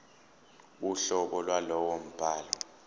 uhlobo lwalowo mbhalo